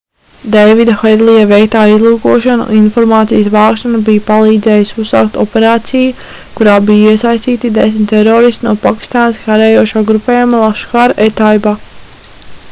deivida hedlija veiktā izlūkošana un informācijas vākšana bija palīdzējusi uzsākt operāciju kurā bija iesaistīti 10 teroristi no pakistānas karojošā grupējuma laskhar-e-taiba